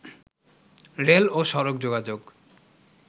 rail ও সড়ক যোগাযোগ